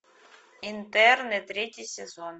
интерны третий сезон